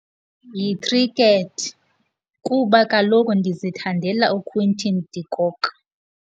Yikhrikethi, kuba kaloku ndizithandela uQuinton de Kock.